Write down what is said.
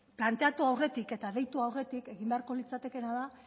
planteatu aurretik eta deitu aurretik egin beharko litzatekeena da